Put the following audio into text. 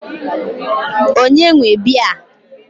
Ònye nwe biya a?